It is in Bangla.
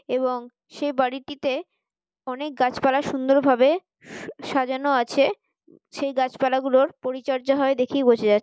এবং সে বাড়িটিতে অনেক গাছপালা সুন্দর ভাবে সু সাজানো আছে সেই গাছপালা গুলোর পরিচর্যা হয় দেখেই বোঝা যা--